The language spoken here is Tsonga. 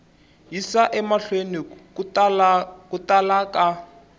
yisa emahlweni ku tala ka